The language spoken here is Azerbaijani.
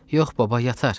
"Yox, baba, yatar.